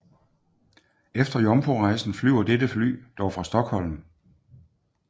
Efter jomfrurejsen flyver dette fly dog fra Stockholm